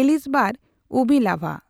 Elizbar Ubilava.